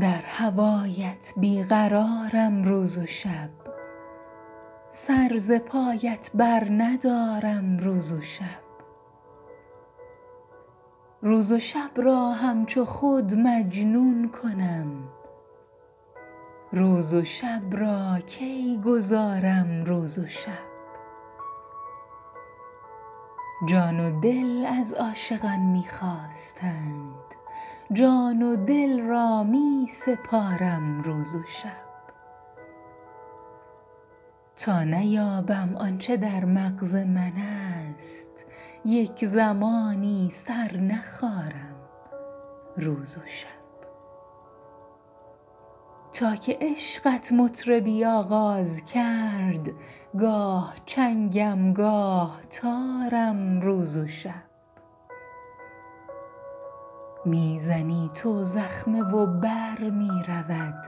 در هوایت بی قرارم روز و شب سر ز پایت برندارم روز و شب روز و شب را همچو خود مجنون کنم روز و شب را کی گذارم روز و شب جان و دل از عاشقان می خواستند جان و دل را می سپارم روز و شب تا نیابم آن چه در مغز منست یک زمانی سر نخارم روز و شب تا که عشقت مطربی آغاز کرد گاه چنگم گاه تارم روز و شب می زنی تو زخمه و بر می رود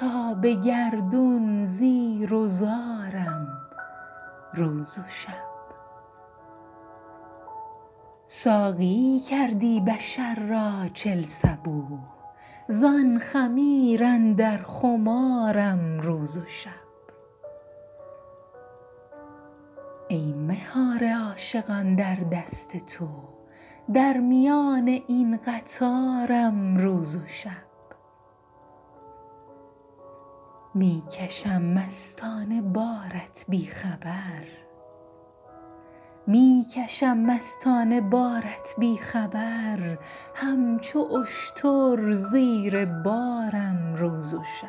تا به گردون زیر و زارم روز و شب ساقیی کردی بشر را چل صبوح زان خمیر اندر خمارم روز و شب ای مهار عاشقان در دست تو در میان این قطارم روز و شب می کشم مستانه بارت بی خبر همچو اشتر زیر بارم روز و شب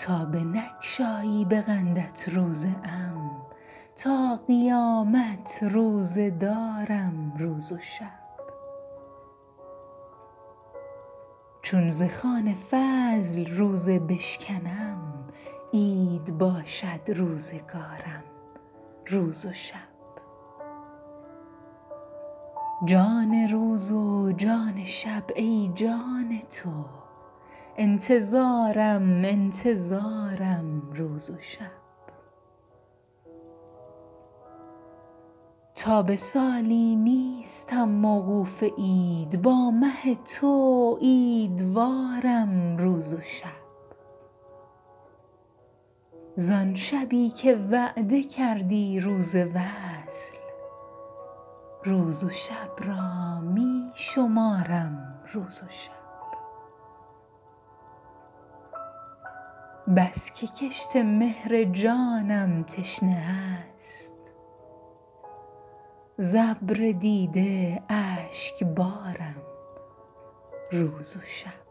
تا بنگشایی به قندت روزه ام تا قیامت روزه دارم روز و شب چون ز خوان فضل روزه بشکنم عید باشد روزگارم روز و شب جان روز و جان شب ای جان تو انتظارم انتظارم روز و شب تا به سالی نیستم موقوف عید با مه تو عیدوارم روز و شب زان شبی که وعده کردی روز وصل روز و شب را می شمارم روز و شب بس که کشت مهر جانم تشنه است ز ابر دیده اشکبارم روز و شب